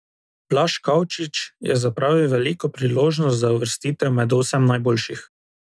Blaž Kavčič je zapravil veliko priložnost za uvrstitev med osem najboljših.